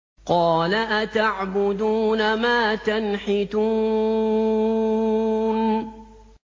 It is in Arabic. قَالَ أَتَعْبُدُونَ مَا تَنْحِتُونَ